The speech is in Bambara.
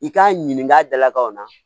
I k'a ɲininka a dalakaw na